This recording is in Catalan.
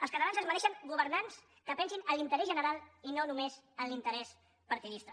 els catalans es mereixen governants que pensin en l’interès general i no només en l’interès partidista